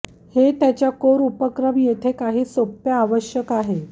हे त्याच्या कोर उपक्रम येथे काही सोप्या आवश्यक आहे